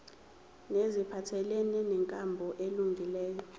neziphathelene nenkambo elungileyo